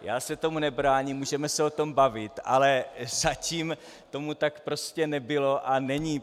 Já se tomu nebráním, můžeme se o tom bavit, ale zatím tomu tak prostě nebylo a není.